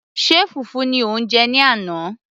ṣe fùfú ni o jẹ ní àná